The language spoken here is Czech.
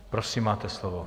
Prosím, máte slovo.